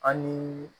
An ni